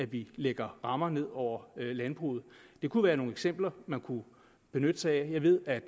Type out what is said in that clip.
vi lægger rammer ned over landbruget det kunne være nogle eksempler man kunne benytte sig af jeg ved at